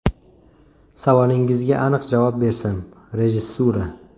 Savolingizga aniq javob bersam, rejissura.